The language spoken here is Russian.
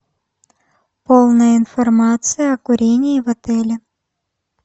полная информация о курении в отеле